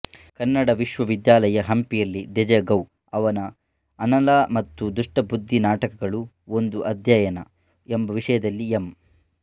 ಕನ್ನಡ ವಿಶ್ವವಿದ್ಯಾಲಯ ಹಂಪಿಯಲ್ಲಿ ದೇಜಗೌ ಅವರ ಅನಲಾ ಮತ್ತು ದುಷ್ಟಬುದ್ಧಿ ನಾಟಕಗಳು ಒಂದು ಅಧ್ಯಯನ ಎಂಬ ವಿಷಯದಲ್ಲಿ ಎಂ